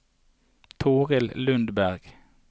Toril Lundberg